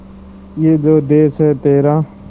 ये जो देस है तेरा